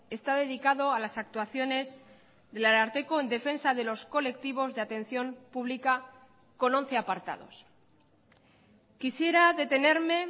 está dedicado a las actuaciones del ararteko en defensa de los colectivos de atención pública con once apartados quisiera detenerme